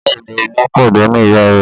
Bẹ́ẹ̀ ni, Olú pàdánù ìyá rẹ̀.